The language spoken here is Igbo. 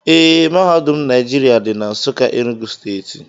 Ee, mahadum Naijiria dị na Nsụka Enugu steeti